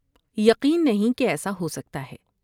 یقین نہیں کہ ایسا ہوسکتا ہے ۔